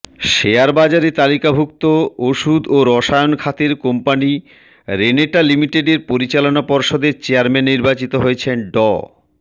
শেয়ারবাজারে তালিকাভুক্ত ওষুধ ও রসায়ন খাতের কোম্পানি রেনেটা লিমিটেডের পরিচালনা পর্ষদের চেয়ারম্যান নির্বাচিত হয়েছেন ড